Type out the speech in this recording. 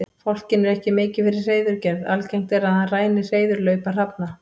Fálkinn er ekki mikið fyrir hreiðurgerð, algengt er að hann ræni hreiðurlaupa hrafna.